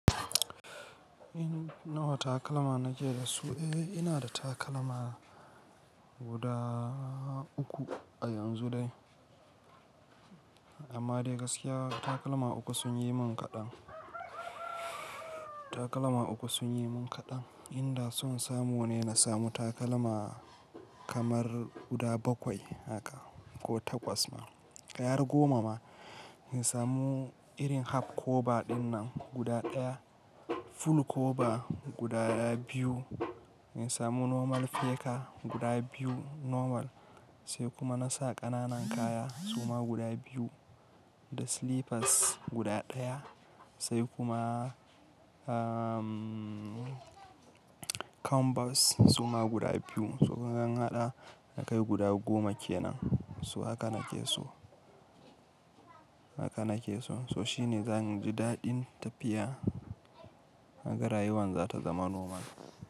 In nawa takalma na ke da su? Eh, ina da takalma guda uku a yanzu dai. Amma dai gaskiya takalma uku sun yi min kaɗan, takalma uku sun yi min kaɗan. Inda son samu ne na samu takalma kamar guda bakwai haka ko takwas ma, kai har goma ma. Na samu irin half cover ɗinnan guda ɗaya, full cover guda biyu. Na samu normal fleka guda biyu normal, sai kuma na sa ƙananan kaya suma guda biyu, da slippers guda ɗaya, sai kuma, um, canvas suma guda biyu. So in an haɗa zai kai guda goma kenan. So haka na ke so, haka na ke so. So shi ne zan ji daɗin tafiya. Haka rayuwar za ta zama normal.